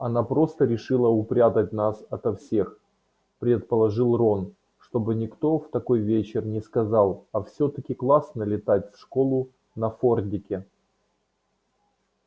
она просто решила упрятать нас ото всех предположил рон чтобы никто в такой вечер не сказал а всё-таки классно летать в школу на фордике